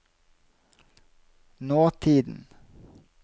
nåtiden